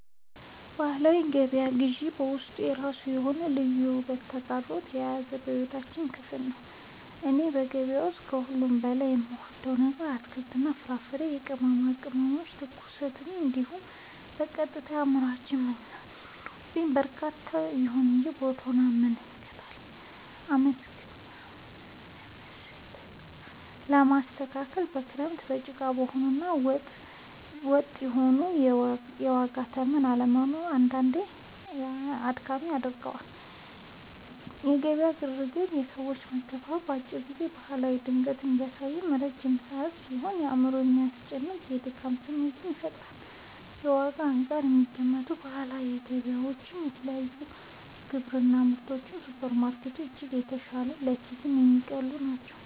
የባህላዊ ገበያ ግዢ በውስጡ የራሱ የሆነ ልዩ ውበትና ተግዳሮት የያዘ የሕይወታችን ክፍል ነው። እኔ በገበያ ውስጥ ከሁሉ በላይ የምወደው ነገር የአትክልት፣ የፍራፍሬና የቅመማ ቅመሞችን ትኩስነት እንዲሁም በቀጥታ ከአምራቹ በመግዛቴ የሚኖረውን እርካታ ነው። ይሁን እንጂ የቦታው አለመስተካከል፣ በክረምት ጭቃ መሆኑ እና ወጥ የሆነ የዋጋ ተመን አለመኖሩ አንዳንዴ አድካሚ ያደርገዋል። የገበያው ግርግርና የሰዎች መጋፋት ለአጭር ጊዜ ባህላዊ ድምቀትን ቢያሳይም፣ ለረጅም ሰዓት ሲሆን ግን አእምሮን የሚያስጨንቅና የሚያደክም ስሜት ይፈጥራል። ከዋጋ አንጻር ሲገመገም፣ የባህላዊ ገበያ ዋጋዎች በተለይ ለግብርና ምርቶች ከሱፐርማርኬቶች በእጅጉ የተሻሉና ለኪስ የሚቀልሉ ናቸው።